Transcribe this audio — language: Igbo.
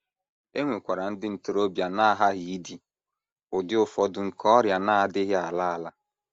E nwekwara ndị ntorobịa na - aghaghị idi ụdị ụfọdụ nke ọrịa na - adịghị ala ala.